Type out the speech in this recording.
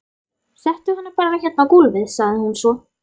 Settu hann bara hérna á gólfið, sagði hún svo.